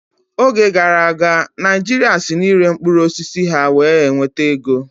Oge gara aga, Naijiria si na ịre mkpụrụ osisi ha wee n'enweta ego